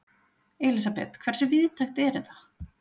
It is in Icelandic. Elísabet, hversu víðtækt er þetta?